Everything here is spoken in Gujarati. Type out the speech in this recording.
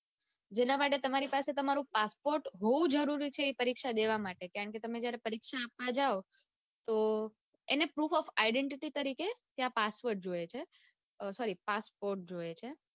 જેના માટે તમારી પાસે તમારું passport હોવું જરૂરી છે એ પરીક્ષા દેવા માટે કારણકે કે તમે પરીક્ષા આપવા જાઓ ત્યારે તો એને ત્યાં proof of identity તરીકે ત્યાં password જોઈએ છે સોરી passport જોઈએ છે.